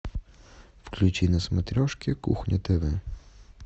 включи на смотрешке кухня тв